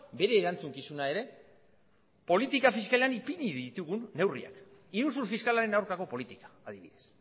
bere erantzukizuna ere politika fiskalean ipini ditugun neurriak iruzur fiskalaren aurkako politika adibidez